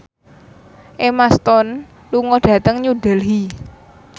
Emma Stone lunga dhateng New Delhi